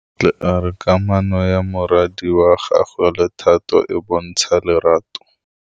Bontle a re kamanô ya morwadi wa gagwe le Thato e bontsha lerato.